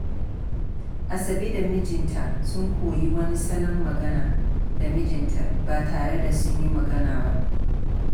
Asabe da mijinta sun koyi wani salon magana da mijinta ba tare da sunyi magana ba.